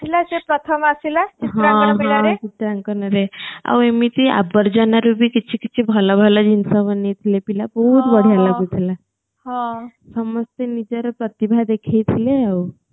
ସେ ପ୍ରଥମ ଆସିଲା ଜାଗର ମେଲାରେ ଆଉ ଏମିତି କେତେକେତେ ଅବର୍ଜନରୁ ବି କିଛି କିଛି ଭଲ ଭଲ ଜିନିଷ ବନେଇଥିଲେ ପିଲା ବହୁତ୍ ବଢିଆ ଲାଗୁଥିଲା ସମସ୍ତେ ନିଜର ପ୍ରତିଭା ଦେଖେଇଥିଲେ ଆଉ